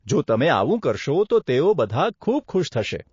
જો તમે આવું કરશો તો તેઓ બધા ખૂબ ખુશ થશે.